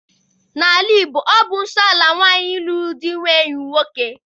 N'ala Igbo, ọ bụ nsọ ala nwaanyị lụrụ di inwe enyi nwoke.